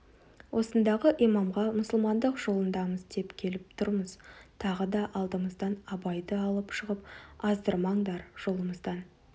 осындағы имамға мұсылмандық жолындамыз деп келіп тұрмыз тағы да алдымыздан абайды алып шығып аздырмаңдар жолымыздан